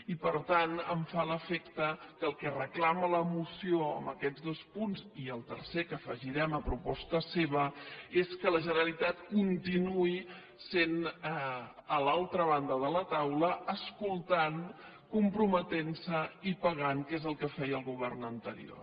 i per tant em fa l’efecte que el que reclama la moció en aquests dos punts i el tercer que afegirem a proposta seva és que la generalitat continuï sent a l’altra banda de la taula escoltant comprometent se i pagant que és el que feia el govern anterior